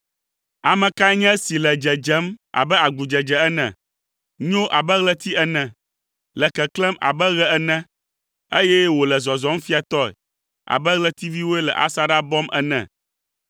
Ame kae nye esi le dzedzem abe agudzedze ene, nyo abe ɣleti ene, le keklẽm abe ɣe ene, eye wòle zɔzɔm fiatɔe abe ɣletiviwoe le asaɖa bɔm ene?